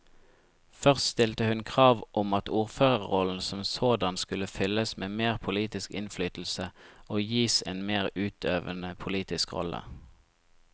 Først stilte hun krav om at ordførerrollen som sådan skulle fylles med mer politisk innflytelse og gis en mer utøvende politisk rolle.